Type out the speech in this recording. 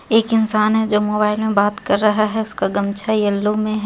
एक इंसान हे जो मोबाईल मे बात कर रहा हे उसका गमछा येलो मे हे.